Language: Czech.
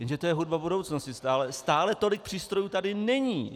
Jenže to je hudba budoucnosti, stále tolik přístrojů tady není.